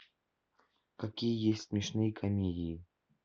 какие есть смешные комедии